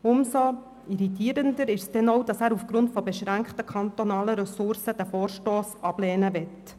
Umso irritierender ist es, dass er aufgrund von beschränkten kantonalen Ressourcen den Vorstoss zur Ablehnung empfiehlt.